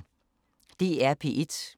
DR P1